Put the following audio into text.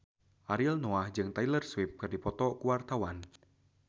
Ariel Noah jeung Taylor Swift keur dipoto ku wartawan